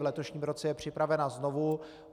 V letošním roce je připravena znovu.